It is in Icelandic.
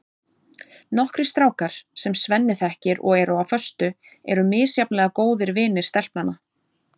Nokkrir strákar, sem Svenni þekkir og eru á föstu, eru misjafnlega góðir vinir stelpnanna.